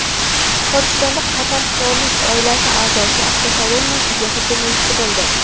Pokistonda Qatar qirollik oilasi a’zosi avtokolonnasiga hujum uyushtirildi.